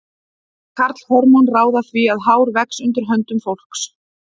Karlhormón ráða því að hár vex undir höndum fólks.